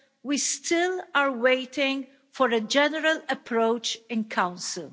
we still are waiting for a general approach in Council.